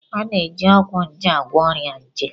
A na-eji ọgwụ nje agwọ ọrịa nje.